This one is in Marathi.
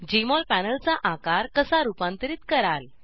जेएमओल पॅनलचा आकार कसा रुपांतरीत कराल